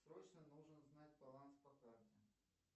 срочно нужно узнать баланс по карте